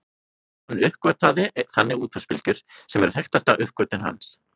Hann uppgötvaði þannig útvarpsbylgjur sem eru þekktasta uppgötvun hans.